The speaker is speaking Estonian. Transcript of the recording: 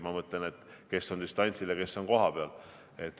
Ma mõtlen, et kes on distantsil ja kes on kohapeal.